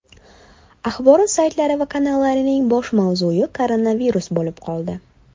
Axborot saytlari va kanallarining bosh mavzui koronavirus bo‘lib qoldi.